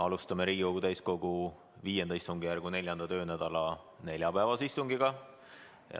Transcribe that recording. Alustame Riigikogu täiskogu V istungjärgu 4. töönädala neljapäevast istungit.